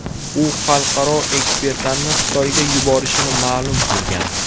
U xalqaro ekspertlarni Xitoyga yuborishini ma’lum qilgan.